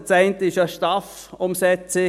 Das eine ist die STAF-Umsetzung.